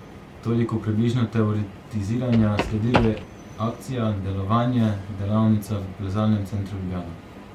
Toliko približno teoretiziranja, sledilo je akcija, delovanje, delavnica v Plezalnem centru Ljubljana.